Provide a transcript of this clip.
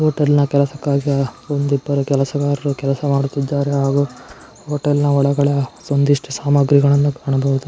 Hotel ನ ಕೆಲಸ ಕಾರ್ಯ ಒಂದು ಇಬ್ಬರು ಕೆಲಸಗಾರರು ಕೆಲಸಾ ಮಾಡುತ್ತಿದ್ದಾರೆ ಹಾಗು ಹೋಟೆಲ್ ನ ಒಳಗಡೆ ಒಂದಿಷ್ಟು ಸಾಮಾಗ್ರಿಗಳನ್ನು ಕಾಣಬಹುದು.